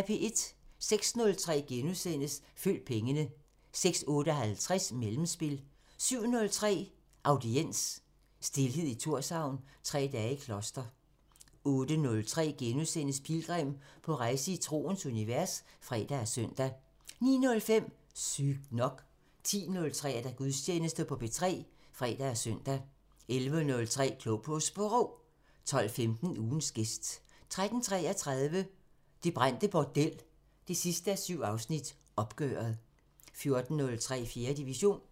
06:03: Følg pengene * 06:58: Mellemspil 07:03: Audiens: Stilhed i Thorshavn – Tre dage i kloster 08:03: Pilgrim – på rejse i troens univers *(fre og søn) 09:05: Sygt nok 10:03: Gudstjeneste på P1 (fre og søn) 11:03: Klog på Sprog 12:15: Ugens gæst 13:33: Det brændte bordel 7:7 – Opgøret 14:03: 4. division